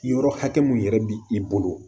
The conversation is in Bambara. Yɔrɔ hakɛ mun yɛrɛ bi i bolo